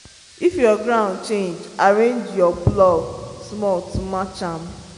if your ground change arrange your plow small to match am.